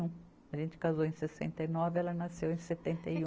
A gente casou em sessenta e nove, ela nasceu em setenta e um